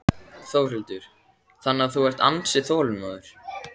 Þórhildur: Þannig að þú ert ansi þolinmóður?